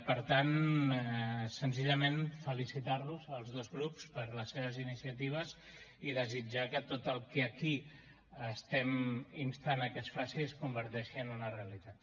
per tant senzillament felicitar los a tots dos grups per les seves iniciatives i desitjar que tot el que aquí instem a que es faci es converteixi en una realitat